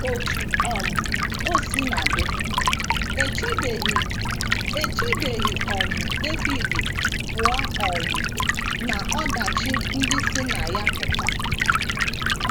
Otú um o sina dị, e chebeghị, e chebeghị um Devid pụọ um n’ọdachi ndị si na ya pụta.